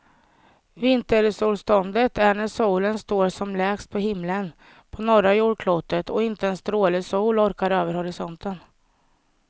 Vintersolståndet är när solen står som lägst på himlen på norra jordklotet och inte en stråle sol orkar över horisonten.